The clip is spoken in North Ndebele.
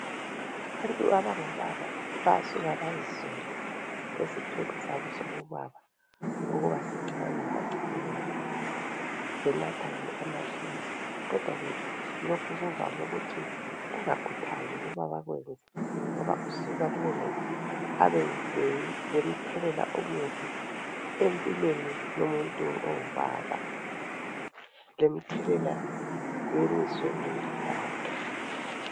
Abantu abangobaba bayasuka bazisole esithweni sabo sobubaba ukuba sincane bacine ke benatha amaphilisi. Kodwa ke lokhu kuvame ukuthi kungakhuthazwa ukuba bakwenze ngoba kusuka abe lemthelela omubi emibi emuntwini ongubaba, lemthelela emizweni yakhe.